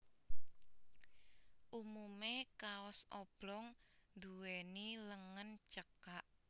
Umume kaos oblong nduwèni lengen cekak